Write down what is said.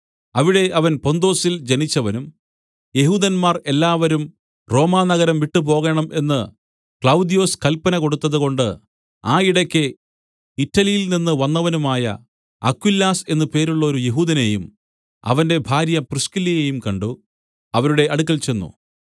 അവിടെ അവൻ പൊന്തൊസിൽ ജനിച്ചവനും യെഹൂദന്മാർ എല്ലാവരും റോമാനഗരം വിട്ടു പോകണം എന്ന് ക്ലൌദ്യൊസ് കല്പന കൊടുത്തതുകൊണ്ട് ആ ഇടയ്ക്ക് ഇറ്റലിയിൽനിന്ന് വന്നവനുമായ അക്വിലാസ് എന്നു പേരുള്ളോരു യെഹൂദനെയും അവന്റെ ഭാര്യ പ്രിസ്കില്ലയെയും കണ്ട് അവരുടെ അടുക്കൽ ചെന്ന്